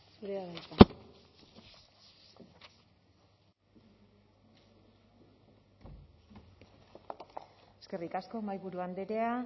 zurea da hitza eskerrik asko mahaiburu andrea